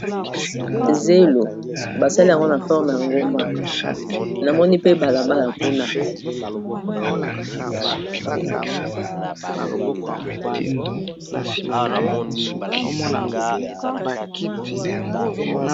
Zelo basali yango na forme ya ngomba namoni pe balabala kuna.